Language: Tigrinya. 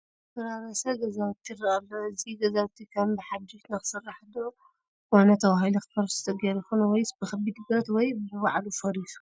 ዝፈራረሰ ገዛውቲ ይርአ ኣሎ፡፡ እዚ ገዛውቲ ከም ብሓዱሽ ንክስራሕ ዶ ኮነ ተባሂሉ ክፈርስ ተገይሩ ይኾን ወይስ ብከቢድ ብረት ወይ ብባዕሉ ፈሪሱ?